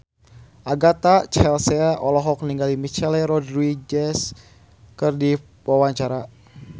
Agatha Chelsea olohok ningali Michelle Rodriguez keur diwawancara